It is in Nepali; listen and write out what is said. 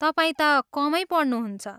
तपाईँ त कमै पढ्नुहुन्छ।